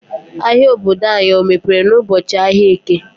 Ahia obodo anyị ọ mepere n'ụbọchị ahịa Eke.